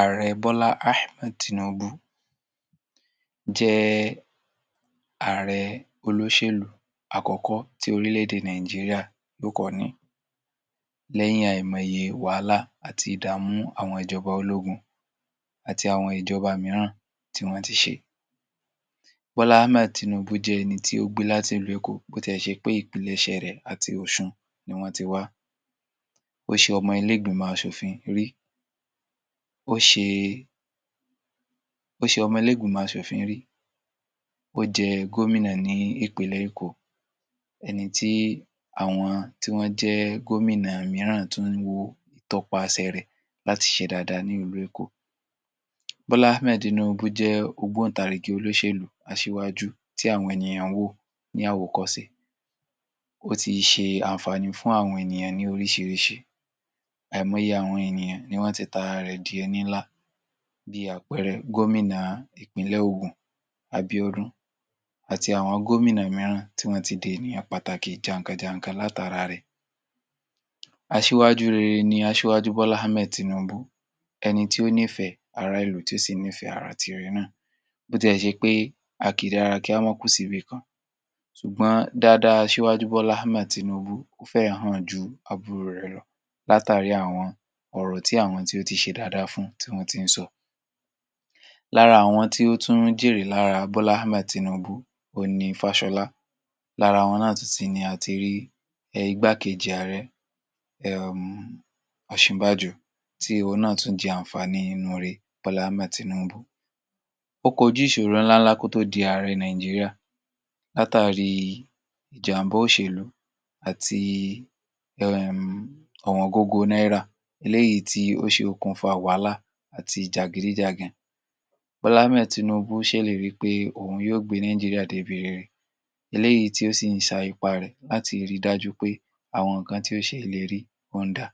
Ààrẹ Bọ́lá Hammed tínuubú jẹ ààrẹ olóṣèlú àkọ́kọ́ tí orílẹ̀-èdè Nàìjíríà ló kọ́ ni lẹ́yìn alẹ́mọ́ye wàhálà àti ìdámú àwọn ìjọba ológun àti àwọn ìjọba mìíràn tí wọ́n ti ṣe. Bọ́lá Hammed tínuubú jẹ ẹni tí ó gbí láti Ìlu Eko bó tẹ́ ṣe pé ìpilẹ̀ṣẹ rẹ àti Ọṣun ní wọ́n ti wa. Ó ṣe ọmọ ilé ìgbìmọ̀ Ṣòfin rí. Ó ṣe, ó ṣe ọmọ ilé ìgbìmọ̀ Ṣòfin rí. O jẹ gómìnà ní ìpilẹ̀ Eko, ẹni tí àwọn tí wọn jẹ gómìnà mìíràn ti n wo ìtọ́pá àṣẹ rẹ láti ṣe dáda ní Ìlu Eko. Bọ́lá Hammed tínuubú jẹ ọgbọ̀n tàrígi olóṣèlú aṣiwájú tí àwọn ènìyàn wo ní awòkọsìn. O ti ṣe ànfanu fún àwọn ènìyàn ni orísirisi. Àìmọ́ye àwọn ènìyàn ni wọn tètà rẹ di ẹ níla, bíi àpẹrẹ gómìnà ìpínlẹ̀ Ogun, Abiodun, àti àwọn gómìnà mìíràn tí wọn ti di ẹnìyàn pàtàkì jáǹká-jáǹká láti ara rẹ. Aṣiwájú rere ni Aṣiwájú Bọ́lá Hammed tínuubú, ẹni tí ó ní fẹ àrá ilù tí ó sì ní fẹ àrá tiré náà, bó tẹ́ ṣe pé àkìdíra kí á mọ́ún kú sí ibi kan, ṣùgbọ́n dáadáa Aṣiwájú Bọ́lá Hammed tínuubú fẹ̀yìnan ju àbúrò rẹ rọ láti rí àwọn ọ̀rọ̀ tí àwọn tí ó ti ṣe dáda fún tí wọn ti ń sọ. Lára àwọn tí ó tún jírè lára Bọ́lá Hammed tínuubú o ni Fashola. Lára wọn náà tún ti ni àti rí ẹ igbákẹji àárẹ, ẹm, Ọsinbájọ tí ó náà tún jìánfá ní inú re Bọ́lá Hammed tínuubú. Ó kọjú ìṣòran ńlá lákó tí ó di àárẹ Nàìjíríà láti ri ìjàmbá òṣèlú àti ẹm ọ̀wọ́n gbogbo Naira, ilé yí tí ó ṣe okùn fàwàlà àti ìjàgíríjàgàn. Bọ́lá Hammed tínuubú ṣèlérí pé òun yóò gbé Nàìjíríà debere. Ilé yí tí ó sì ń sa ìparẹ láti rí dájú pé àwọn nǹkan tí ó ṣe ìlérí ó n dá.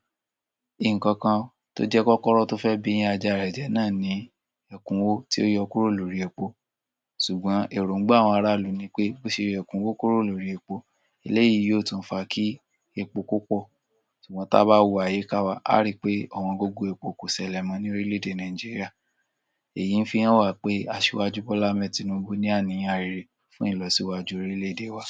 Nǹkan kan tó jẹ́ kọ́kọ́rọ́n tó fẹ́ biyín ajá rẹ jẹ́ náà ní ẹkúnwó tí ó yọ kúró lórí epo. Ṣùgbọ́n èróngbè àwọn aráàlú ni pé bó ṣe rí ẹkúnwó kúró lórí epo, ilé yí yí ó tún fa kí epo pópọ. Ṣùgbọ́n tà bá wu ayé ká wa, a rí i pé ọ̀wọn gbogbo epo kò sẹlẹ̀mọ ní orílẹ̀-èdè Nàìjíríà. Èyí ń fi hàn wá pé Aṣiwájú Bọ́lá Hammed tínuubú ní àní arère fún ìlọsíwà jorí iléèdè wa.